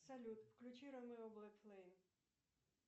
салют включи ромео блэк флейм